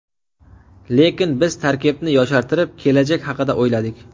Lekin biz tarkibni yoshartirib, kelajak haqida o‘yladik.